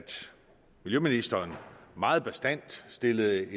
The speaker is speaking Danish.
miljøministeren meget bastant stillede